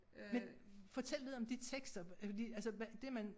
Men fortæl lidt om de tekster fordi altså hvad det man